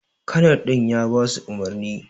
kanar din ya basu umurni.